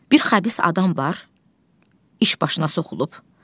Bir xəbis adam var, iş başına soxulub.